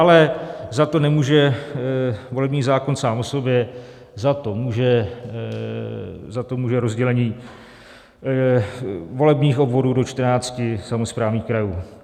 Ale za to nemůže volební zákon sám o sobě, za to může rozdělení volebních obvodů do 14 samosprávných krajů.